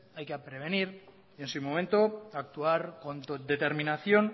hay que prevenir y en su momento actuar con determinación